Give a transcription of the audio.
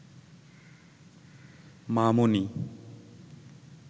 মামনি